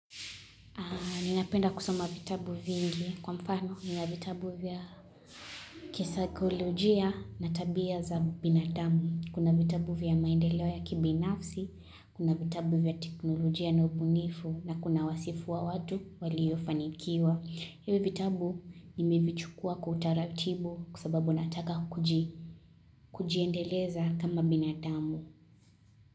Ninapenda kusoma vitabu vingi kwa mfano nina vitabu vya kisakolojia na tabia za binadamu. Kuna vitabu vya maendeleo ya kibinafsi, kuna vitabu vya teknolojia na ubunifu na kuna wasifu wa watu waliofanikiwa. Hivi vitabu nimevichukua kwa utaratibu kwa sababu nataka kujiendeleza kama binadamu.